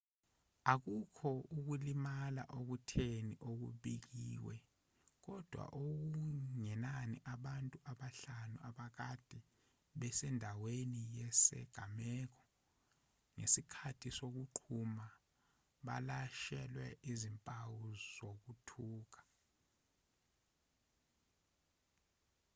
akukho ukulimala okutheni okubikiwe kodwa okungenani abantu abahlanu abakade bese ndaweni yesigameko ngesikhathi sokuqhuma balashelwe izimpawu zokuthuka